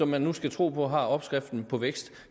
man nu tro på har opskriften på vækst